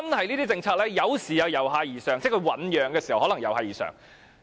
一些政策有時由下而上產生，即在醞釀時可能由下而上。